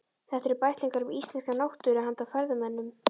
Þetta eru bæklingar um íslenska náttúru handa ferðamönnum.